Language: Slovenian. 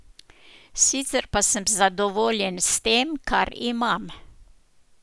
Sicer pa sem zadovoljen s tem, kar imam.